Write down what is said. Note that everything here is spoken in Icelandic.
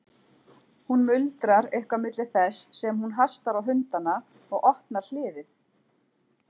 Hún muldrar eitthvað milli þess sem hún hastar á hundana og opnar hliðið.